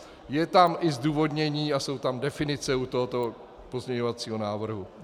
Je tam i zdůvodnění a jsou tam definice u tohoto pozměňovacího návrhu.